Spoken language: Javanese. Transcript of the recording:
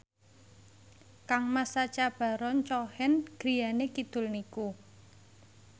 kangmas Sacha Baron Cohen griyane kidul niku